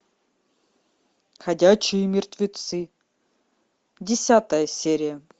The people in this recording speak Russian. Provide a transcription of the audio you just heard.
ходячие мертвецы десятая серия